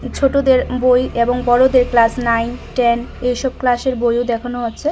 ছোটদের বই এবং বড়দের ক্লাস নাইন টেন এসব ক্লাসের বইও দেখানো হচ্ছে।